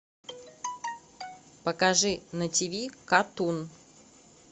покажи на тиви катун